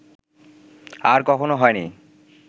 আর কখনো হয় নি